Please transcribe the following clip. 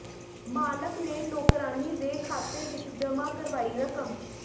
ਮਾਲਕ ਨੇ ਨੌਕਰਾਣੀ ਦੇ ਖਾਤੇ ਵਿਚ ਜਮ੍ਹਾਂ ਕਰਵਾਈ ਰਕਮ